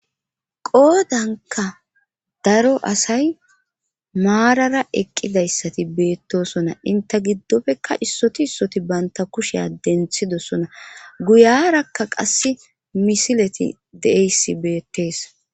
Poodanka daro asay maarara eqqidayssati beettosona inte giddofekka issoti issoti banta kusheya denthidosona guyarakka qasse misileti de7eyssi beettees